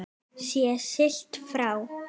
Sé siglt frá